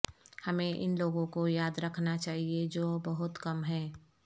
ہمیں ان لوگوں کو یاد رکھنا چاہئے جو بہت کم ہیں